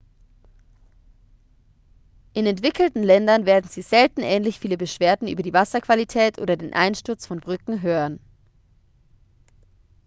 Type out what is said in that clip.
in entwickelten ländern werden sie selten ähnlich viele beschwerden über die wasserqualität oder den einsturz von brücken hören